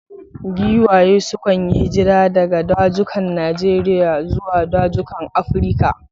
Giwaye sukan yi hijira daga dazukan Najeriya zuwa dazukan Afirka.